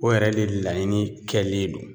O yɛrɛ de laɲini kɛlen don